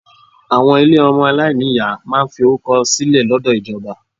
Àwọn ilé ọmọ aláìní ìyá máa ń fi orúkọ sílẹ̀ lọ́dọ̀ ìjọba.